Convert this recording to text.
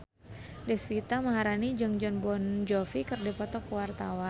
Deswita Maharani jeung Jon Bon Jovi keur dipoto ku wartawan